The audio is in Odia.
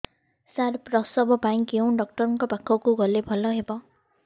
ସାର ପ୍ରସବ ପାଇଁ କେଉଁ ଡକ୍ଟର ଙ୍କ ପାଖକୁ ଗଲେ ଭଲ ହେବ